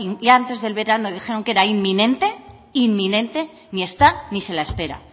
y antes del verano dijeron que era inminente inminente ni está ni se la espera